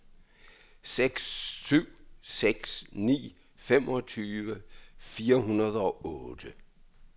seks syv seks ni femogtyve fire hundrede og otte